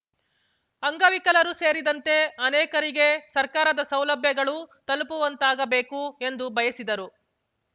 ಅಂಗವಿಕಲರು ಸೇರಿದಂತೆ ಅನೇಕರಿಗೆ ಸರ್ಕಾರದ ಸೌಲಭ್ಯಗಳು ತಲುಪುವಂತಾಗಬೇಕು ಎಂದು ಬಯಸಿದರು